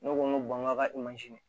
Ne ko n ko n k'a ka di